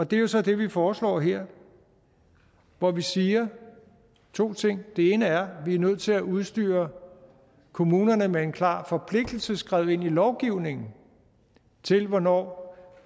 det er så det vi foreslår her hvor vi siger to ting den ene er at vi er nødt til at udstyre kommunerne med en klar forpligtelse skrevet ind i lovgivningen til hvornår